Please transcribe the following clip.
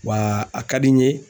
Wa a ka di n ye